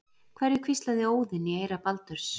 Hverju hvíslaði Óðinn í eyra Baldurs?